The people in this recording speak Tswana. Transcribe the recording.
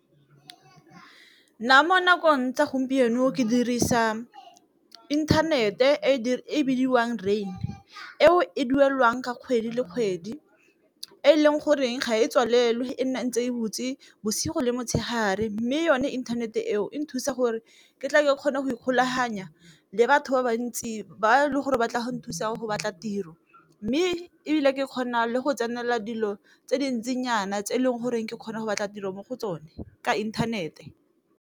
Nna mo nakong tsa gompieno ke dirisa inthanete e bidiwang rain, eo e duelwang ka kgwedi le kgwedi e leng goreng ga e tswalelo e ntse e botse bosigo le motshegare, mme yone internet-e eo e nthusa gore ke tle ke kgone go ikgolaganya le batho ba bantsi ba le gore ba tle go nthusa go batla tiro. Mme ebile ke kgona le go tsenela dilo tse dintsinyana tse e leng goreng ke kgona go batla tiro mo go tsone ka inthanete.